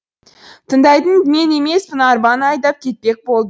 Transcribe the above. тыңдайтын мен емеспін арбаны айдап кетпек болды